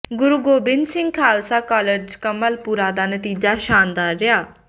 ਗੁਰੂ Gobind Singh Khalsa college Kamalpura ਦਾ ਨਤੀਜਾ ਸ਼ਾਨਦਾਰ ਰਿਹਾ